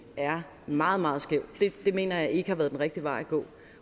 er meget meget skæv mener jeg ikke det har været den rigtige vej at gå